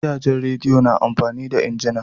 Gidajen radiya na amfani da injina.